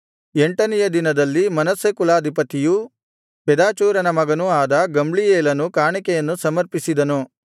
ಎಂಟನೆಯ ದಿನದಲ್ಲಿ ಮನಸ್ಸೆ ಕುಲಾಧಿಪತಿಯೂ ಪೆದಾಚೂರನ ಮಗನೂ ಆದ ಗಮ್ಲೀಯೇಲನು ಕಾಣಿಕೆಯನ್ನು ಸಮರ್ಪಿಸಿದನು